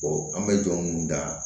an bɛ jɔn mun da